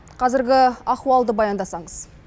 қазіргі ахуалды баяндасаңыз